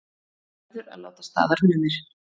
Verður að láta staðar numið